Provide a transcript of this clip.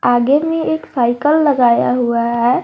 आगे में एक साइकल लगाया हुआ है।